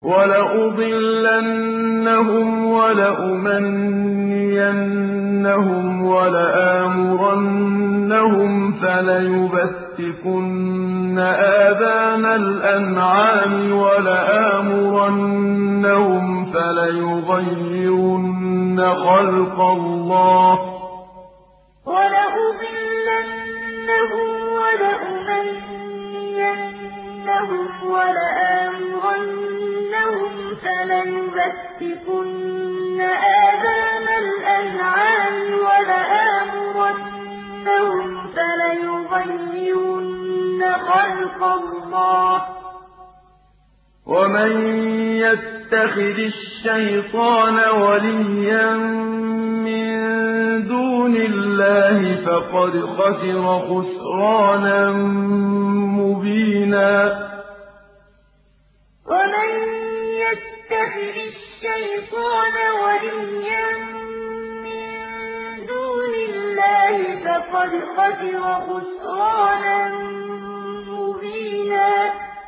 وَلَأُضِلَّنَّهُمْ وَلَأُمَنِّيَنَّهُمْ وَلَآمُرَنَّهُمْ فَلَيُبَتِّكُنَّ آذَانَ الْأَنْعَامِ وَلَآمُرَنَّهُمْ فَلَيُغَيِّرُنَّ خَلْقَ اللَّهِ ۚ وَمَن يَتَّخِذِ الشَّيْطَانَ وَلِيًّا مِّن دُونِ اللَّهِ فَقَدْ خَسِرَ خُسْرَانًا مُّبِينًا وَلَأُضِلَّنَّهُمْ وَلَأُمَنِّيَنَّهُمْ وَلَآمُرَنَّهُمْ فَلَيُبَتِّكُنَّ آذَانَ الْأَنْعَامِ وَلَآمُرَنَّهُمْ فَلَيُغَيِّرُنَّ خَلْقَ اللَّهِ ۚ وَمَن يَتَّخِذِ الشَّيْطَانَ وَلِيًّا مِّن دُونِ اللَّهِ فَقَدْ خَسِرَ خُسْرَانًا مُّبِينًا